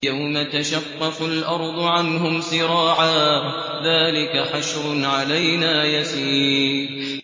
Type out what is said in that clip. يَوْمَ تَشَقَّقُ الْأَرْضُ عَنْهُمْ سِرَاعًا ۚ ذَٰلِكَ حَشْرٌ عَلَيْنَا يَسِيرٌ